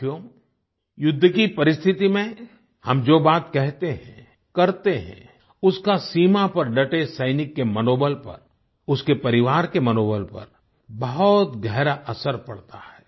साथियो युद्ध की परिस्थिति में हम जो बात कहते हैं करते हैं उसका सीमा पर डटे सैनिक के मनोबल पर उसके परिवार के मनोबल पर बहुत गहरा असर पड़ता है